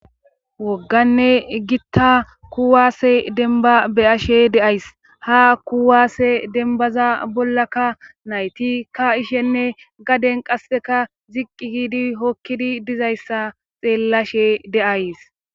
wogganne gitta kuwaase denba beyashe deays ha kuwaasse denbaza bollaka nayti ka ishenne gaden qasseka ziqqi giidi hokkidi dizayssa xeellashe deays